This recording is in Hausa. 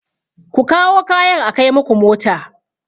Ku kawo kayan a kai muku mota!